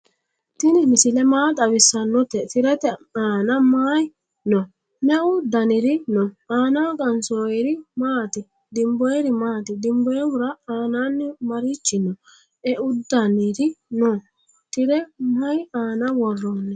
tini misile maa xawisanote? tirete anna mayi no?meu daniri no?anaho qansoyiri maati? dinboyiri maati? dinboyihura annani marichi no?eudaniri no?tire mayi aana woroni?